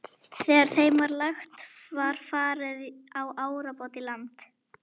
Þegar þeim var lagt var farið á árabát í land.